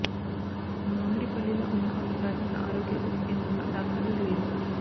మామిడిపల్లిలో ఉన్న ఒక ప్రాథమిక ఆరోగ్య ఉప కేంద్రంలో డాక్టర్లు లేరు